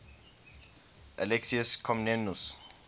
alexius comnenus